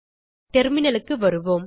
terminalக்கு திரும்புவோம்